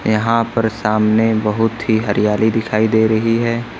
यहां पर सामने बहुत ही हरियाली दिखाई दे रही है।